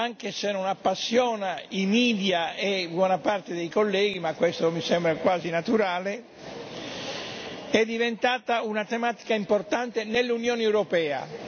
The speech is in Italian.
anche se non appassiona i media e buona parte dei colleghi ma questo mi sembra quasi naturale è diventata una tematica importante nell'Unione europea.